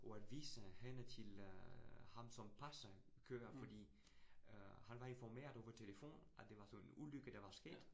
Og at vise hende til øh ham, som passer køer fordi øh han var informeret over telefonen, at det var sådan ulykke, der var sket